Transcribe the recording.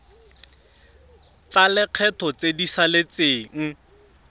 tsa lekgetho tse di saletseng